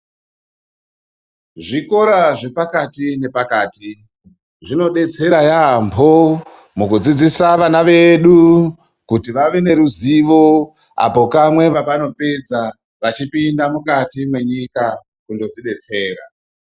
Zvikora zvepakati nepakati zvinodetsera yambo mukudzidzisa vana vedu kuti vave neruzivo apo kamwe pavanopedza vachipinda mukati mwenyika kundodzidetsera.